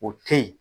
O te yen